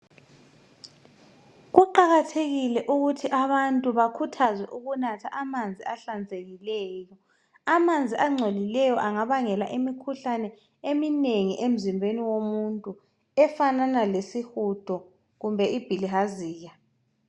Kuqakathekile ukuthi abantu bakhuthazwe ukunatha amanzi ahlanzekileyo. Amanzi agcolileyo angabangela imikhuhlane eminengi emzimbeni womuntu efanana lesihudo kumbe ibhilihaziya.